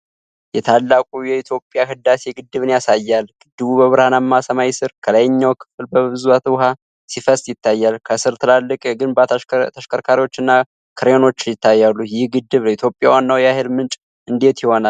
የታላቁ የኢትዮጵያ ህዳሴ ግድብን ያሳያል። ግድቡ በብርሃናማ ሰማይ ስር ከላይኛው ክፍል በብዛት ውኃ ሲያፈስ ይታያል። ከስር ትላልቅ የግንባታ ተሽከርካሪዎች እና ክሬኖች ይታያሉ። ይህ ግድብ ለኢትዮጵያ ዋናው የኃይል ምንጭ እንዴት ይሆናል?